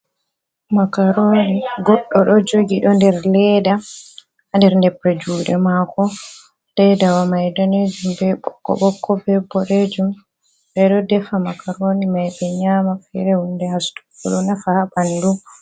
Makaroni, goɗɗo ɗo jogi, ɗo ɗer leɗɗa. Ha ɗer nepre juɗe mako. Leiɗawa mai ɗanejum, ɓe ɓokko ɓokko, ɓe ɓoɗejum. Ɓe ɗo ɗefa makaroni mai ɓe nyama, fere hunɗe hastuggo ɗo nafa ha ɓanɗu.